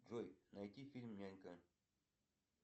джой найти фильм нянька